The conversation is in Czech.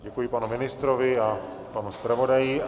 Děkuji panu ministrovi a panu zpravodaji.